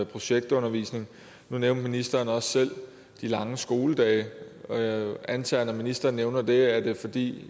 projektundervisning nu nævnte ministeren også selv de lange skoledage jeg antager at når ministeren nævner det er det fordi